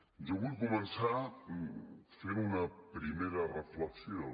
jo vull començar fent una primera reflexió